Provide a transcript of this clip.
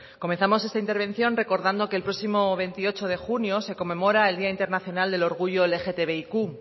comenzamos esta intervención recordando que el próximo veintiocho de junio se conmemora el día internacional del orgullo lgtbiq